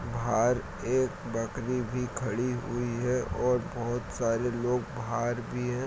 भार एक बकरी भी खड़ी हुई है और बहोत सारे लोग बाहर भी है ।